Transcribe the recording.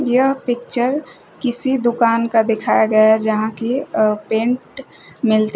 यह पिक्चर किसी दुकान का दिखाया गया है जहां की अ पेंट मिलते--